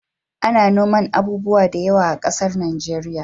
Ana noman abubuwa da yawa a ƙasar nigeria